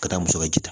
Ka taa muso ka ji ta